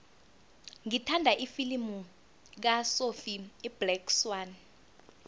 ngithanda ifilimu kasophie iblack swann